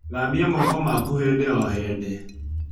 Thambia moko maku hĩndĩ o hĩndĩ